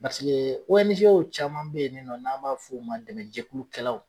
Paseke caman be yen nin nɔn, n'an b'a fɔ u ma dɛmɛjɛkulukɛlaw